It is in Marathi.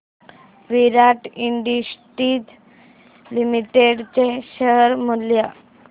विराट इंडस्ट्रीज लिमिटेड चे शेअर मूल्य